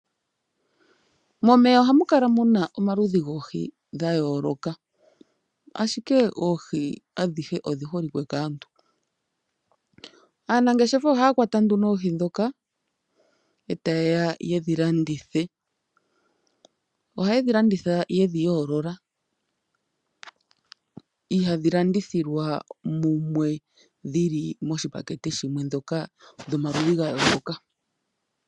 Momeya ohamu kala muna omaludhi goohi ga yooloka. Ashike oohi adhihe odhi holike kaantu. Aanangeshefa ohaya kwata nduno oohi ndhoka, e ta ye ya ye dhi landithe. Ohaye dhi landitha ye dhi yoolola, ihadhi landithilwa mumwe dhili moshipakete shimwe ndhoka dhomaludhi ga yooloka.